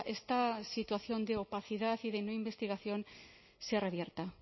esta situación de opacidad y de no investigación sea revierta